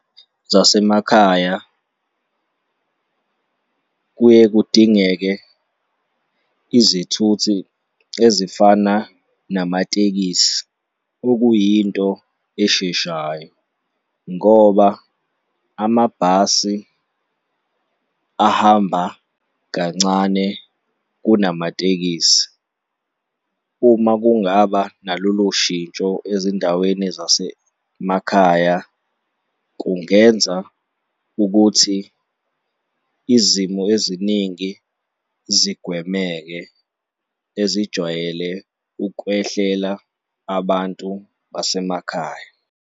Zasemakhaya kuye kudingeke izithuthi ezifana namatekisi, okuyinto esheshayo ngoba amabhasi ahamba kancane kunamatekisi. Uma kungaba nalolu shintsho ezindaweni zasemakhaya, kungenza ukuthi izimo eziningi zigwemeke ezijwayele ukwehlela abantu basemakhaya.